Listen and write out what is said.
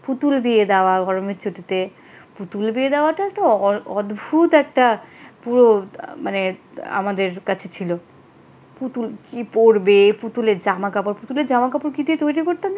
পুতুল বিয়ে দেওয়া গরমের ছুটিতে পুতুল বিয়ে দেওয়াটা তো অদ্ভুত একটা পুরো মানে আমাদের কাছে ছিল। পুতুল কি পড়বে পুতুলের জামা কাপড় পুতুলের জামা কাপড় কি দিয়ে তৈরি করতেন জানো?